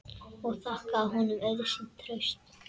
Ég þakkaði honum auðsýnt traust.